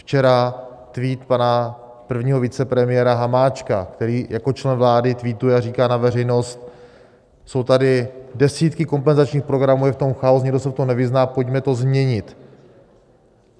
Včera tweet pana prvního vicepremiéra Hamáčka, který jako člen vlády tweetuje a říká na veřejnost: jsou tady desítky kompenzačních programů, je v tom chaos, nikdo se v tom nevyzná, pojďme to změnit.